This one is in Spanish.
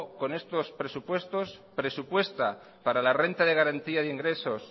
con estos presupuestos presupuesta para la renta de garantía de ingresos